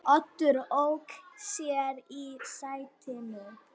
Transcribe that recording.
Oddur ók sér í sætinu.